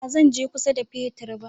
Ba zan je kusa da fetir ba